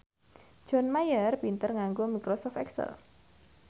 John Mayer pinter nganggo microsoft excel